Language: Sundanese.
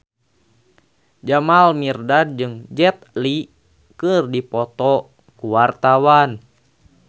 Jamal Mirdad jeung Jet Li keur dipoto ku wartawan